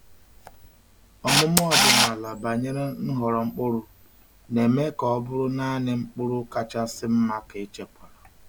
Ọmụma ọdịnala banyere nhọrọ mkpụrụ na-eme ka ọ bụrụ naanị mkpụrụ kachasị mma ka echekwara.